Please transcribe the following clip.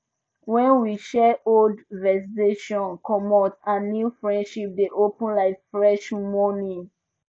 when we share old vexations comot and new friendship dey open like fresh morning